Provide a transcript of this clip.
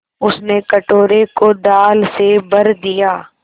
उसने कटोरे को दाल से भर दिया